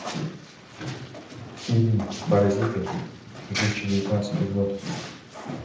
фильм паразиты две тысячи девятнадцатый год